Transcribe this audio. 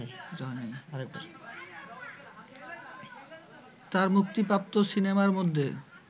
তার মুক্তিপ্রাপ্ত সিনেমার মধ্যে